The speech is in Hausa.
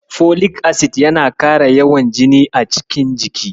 Folik acid yana ƙara yawan jini a cikin jiki.